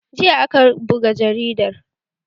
Jiya aka buga jaridar